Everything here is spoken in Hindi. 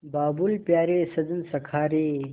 बाबुल प्यारे सजन सखा रे